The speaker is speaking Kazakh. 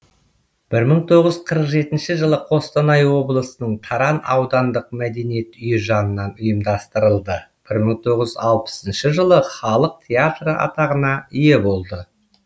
бір мың тоғыз жүз қырық жетінші жылы қостанай облысының таран аудандық мәдениет үйі жанынан ұйымдастырылды бір мың тоғыз жүз алпысыншы жылы халық театры атағына ие болды